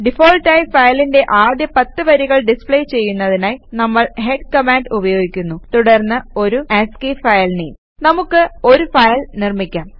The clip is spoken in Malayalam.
ഡിഫാൾട്ട് ആയി ഫയലിന്റെ ആദ്യ 10 വരികൾ ഡിസ്പ്ലേ ചെയ്യുന്നതിനായി നമ്മൾ ഹെഡ് കമാൻഡ് ഉപയോഗിക്കുന്നു തുടർന്ന് ഒരു ആസ്കി ഫയൽ നെയിം നമുക്ക് ഒരു ഫയൽ നിർമ്മിക്കാം